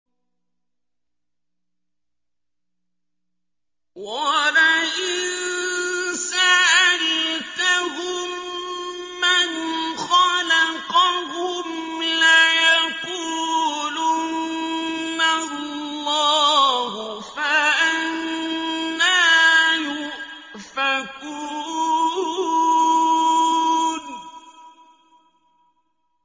وَلَئِن سَأَلْتَهُم مَّنْ خَلَقَهُمْ لَيَقُولُنَّ اللَّهُ ۖ فَأَنَّىٰ يُؤْفَكُونَ